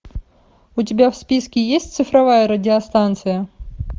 у тебя в списке есть цифровая радиостанция